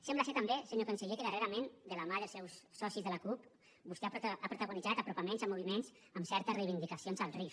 sembla ser també senyor conseller que darrerament de la mà dels seus socis de la cup vostè ha protagonitzat apropaments a moviments amb certes reivindicacions al rif